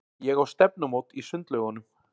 Ég á stefnumót í sundlaugunum.